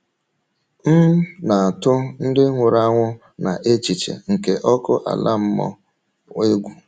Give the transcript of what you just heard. M na - atụ ndị nwụrụ anwụ na echiche nke ọkụ ala mmụọ egwu.